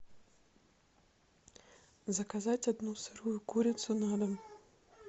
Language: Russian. заказать одну сырую курицу на дом